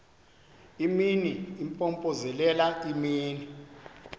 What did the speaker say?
imini impompozelela imini